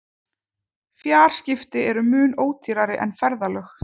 Fjarskipti eru mun ódýrari en ferðalög.